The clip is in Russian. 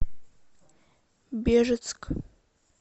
бежецк